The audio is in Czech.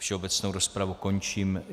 Všeobecnou rozpravu končím.